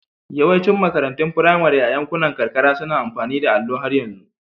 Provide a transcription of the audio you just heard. Yawancin makarantun firamare a yankunan karkara suna amfani da allo har yanzu.